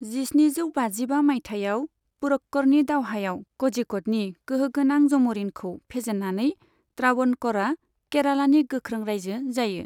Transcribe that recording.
जिस्निजौ बाजिबा मायथाइयाव पुरक्कड़नि दावहायाव क'झिक'डनि गोहोगोनां जम'रिनखौ फेजेन्नानै त्रावणक'रआ केरालानि गोख्रों रायजो जायो।